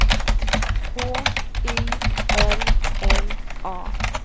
H Y L L A